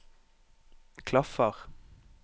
klaffer